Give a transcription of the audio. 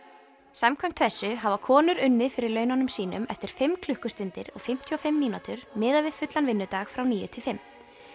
samkvæmt þessu hafa konur unnið fyrir laununum sínum eftir fimm klukkustundir og fimmtíu og fimm mínútur miðað við fullan vinnudag frá níu til fimm